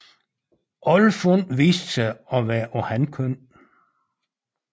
Alle fund viste sig at være af hankøn